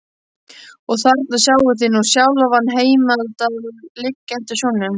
Og þarna sjáið þið nú sjálfan Heimdall liggjandi á sjónum.